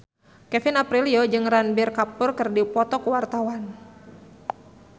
Kevin Aprilio jeung Ranbir Kapoor keur dipoto ku wartawan